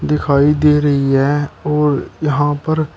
दिखाई दे रही है और यहां पर--